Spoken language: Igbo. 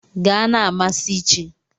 Gaa na-amasị chi!